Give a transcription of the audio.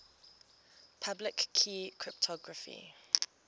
public key cryptography